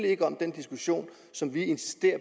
ikke om den diskussion som vi insisterer